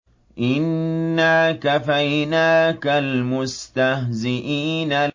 إِنَّا كَفَيْنَاكَ الْمُسْتَهْزِئِينَ